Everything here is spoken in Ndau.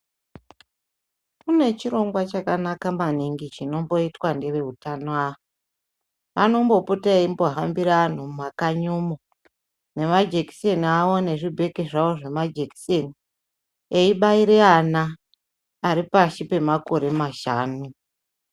Kune chirongwa chakanaka maningi chinomboitwa neveutano ava. Anombopota eimbohambira anhu mumakanyi umo, nemajekiseni awo nezvibheki zvawo zvemajekiseni ,eibaire ana ari pashi pemakore mashanu.